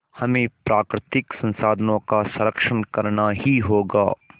हमें प्राकृतिक संसाधनों का संरक्षण करना ही होगा